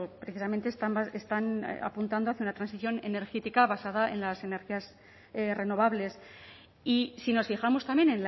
precisamente están apuntando hacia una transición energética basada en las energías renovables y si nos fijamos también